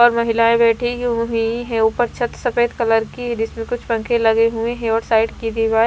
और महिलाएं बैठी हुई है ऊपर छत सफेद कलर की है जिसमें कुछ पंखे लगे हुए हैं और साइड की दीवार --